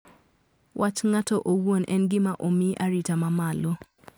Wach ng`ato owuon en gima omi arita ma malo.